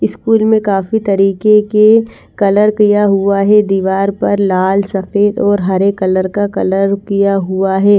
School मे काफी तरीके के कलर किया हुआ है दीवार पर लाल सफेद और हरे कलर का कलर किया हुआ है।